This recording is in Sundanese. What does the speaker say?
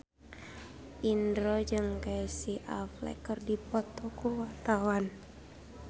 Indro jeung Casey Affleck keur dipoto ku wartawan